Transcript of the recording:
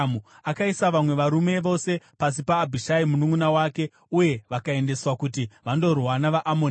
Akaisa vamwe varume vose pasi paAbhishai mununʼuna wake uye vakaendeswa kuti vandorwa navaAmoni.